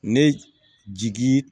Ne jigi